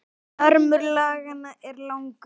Armur laganna er langur